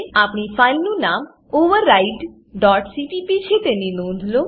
આપણી ફાઈલનું નામ overrideસીપીપી છે તેની નોંધ લો